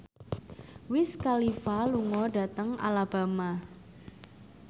Wiz Khalifa lunga dhateng Alabama